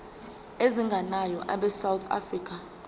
ezingenayo abesouth african